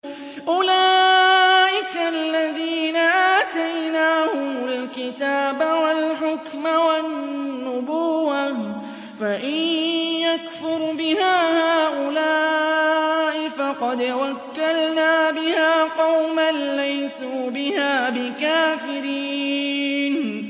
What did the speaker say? أُولَٰئِكَ الَّذِينَ آتَيْنَاهُمُ الْكِتَابَ وَالْحُكْمَ وَالنُّبُوَّةَ ۚ فَإِن يَكْفُرْ بِهَا هَٰؤُلَاءِ فَقَدْ وَكَّلْنَا بِهَا قَوْمًا لَّيْسُوا بِهَا بِكَافِرِينَ